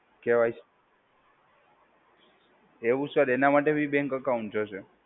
કે Y C. એવું sir, એના માટે બી બેન્ક એકાઉન્ટ જોશે?